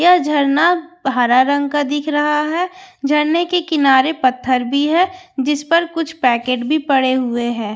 यह झरना हरा रंग का दिख रहा है झरने के किनारे पत्थर भी है जिस पर कुछ पैकेट भी पड़े हुए हैं।